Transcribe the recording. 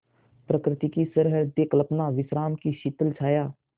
प्रकृति की सहृदय कल्पना विश्राम की शीतल छाया